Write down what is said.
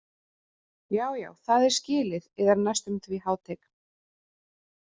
Já, já það er skilið yðar næstum því hátign.